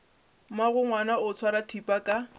mmagongwana o swara thipa ka